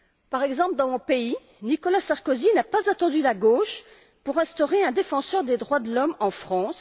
Par exemple, dans mon pays, Nicolas Sarkozy n'a pas attendu la gauche pour instaurer un défenseur des droits de l'homme en France.